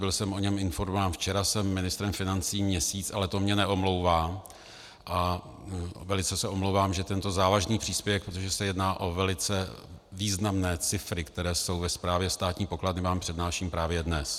Byl jsem o něm informován včera, jsem ministrem financí měsíc, ale to mě neomlouvá a velice se omlouvám, že tento závažný příspěvek, protože se jedná o velice významné cifry, které jsou ve správě státní pokladny, vám přednáším právě dnes.